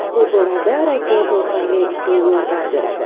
Bu borada radioto‘lqinli usul yordam beradi.